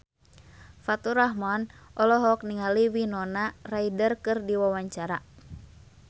Faturrahman olohok ningali Winona Ryder keur diwawancara